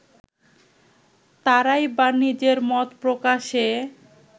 তারাই বা নিজের মত প্রকাশে